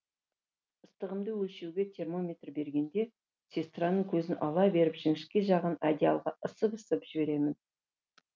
ыстығымды өлшеуге термометр бергенде сестраның көзін ала беріп жіңішке жағын одеялға ысып ысып жіберемін